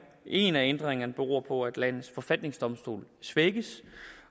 en af ændringerne beror på at landets forfatningsdomstol svækkes